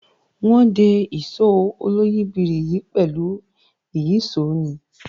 Wọ́n de Ìṣó oloyìibírí yìí pẹ̀lú ìyíṣòó ni